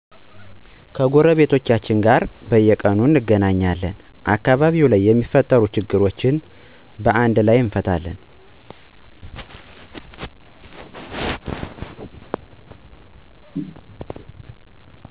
ከጎረቤቶቻችን ጋር በየቁኑ እንገናኛልን አከባቢው ላይ የሚፈጠሩ ችግሮችን በአንድ እንፈታለን